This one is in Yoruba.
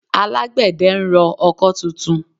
Alágbẹ̀dẹ ń rọ ọkọ́ tuntun